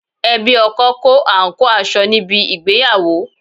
Ẹbí ọkọ kó àǹkóò aṣọ níbi ìgbéyàwó